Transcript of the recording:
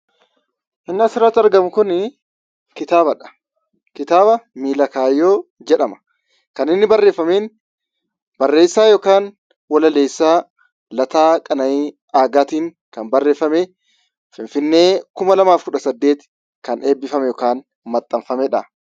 Inni asirratti argamu kun kitaabadha. Kitaaba "Miila kaayyoo" jedhama. Kan inni barreeffame barreessaa yookiin walaleessaa Lataa Qana'ii Aagaatiin barreeffamee Finfinnee 2018 kan eebbifame yookiin maxxanfameedha.